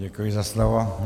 Děkuji za slovo.